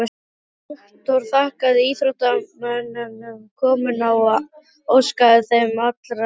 Rektor þakkaði íþróttamönnum komuna og óskaði þeim allra heilla.